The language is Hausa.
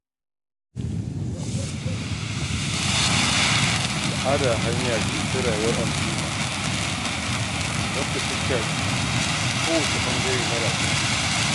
Al'ada hanya ce ta rayuwar al'umma, wadda ta shafi kowane ɓangare na rayuwa.